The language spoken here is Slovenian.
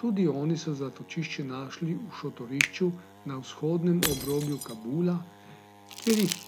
Tudi oni so zatočišče našli v šotorišču na vzhodnem obrobju Kabula, kjer jih